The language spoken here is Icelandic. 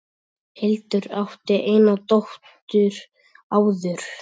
Hildur átti eina dóttur áður.